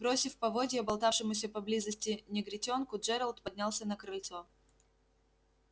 бросив поводья болтавшемуся поблизости негритёнку джералд поднялся на крыльцо